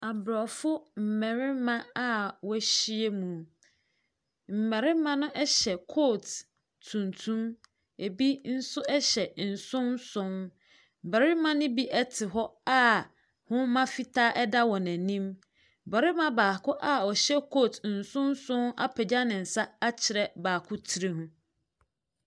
Aborɔfo mmarima a wɔahyia mu. Mmarima no hyɛ kootu tuntum, bi nso hyɛ nsonnson. Mmarima ne bi te hɔ a nwoma fitaa da wɔn anim. Barima baako a ɔhyɛ kootu nsonnson apagya ne nsa akyerɛ baako tiri mu.